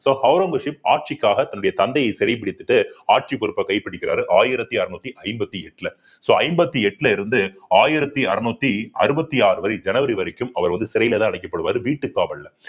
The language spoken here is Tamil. so ஔரங்கசீப் ஆட்சிக்காக தன்னுடைய தந்தையை சிறைபிடித்துட்டு ஆட்சி பொறுப்பை கைப்பிடிக்கிறாரு ஆயிரத்தி அறுநூத்தி ஐம்பத்தி எட்டுல so ஐம்பத்தி எட்டுல இருந்து ஆயிரத்தி அறுநூத்தி அறுபத்தி ஆறு வரை ஜனவரி வரைக்கும் அவர் வந்து சிறையிலதான் அடைக்கப்படுவாரு வீட்டுக்காவல்ல